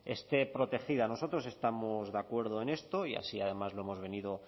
esté protegida nosotros estamos de acuerdo en esto y así además lo hemos venido